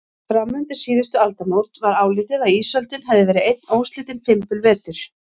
Fram undir síðustu aldamót var álitið að ísöldin hefði verið einn óslitinn fimbulvetur.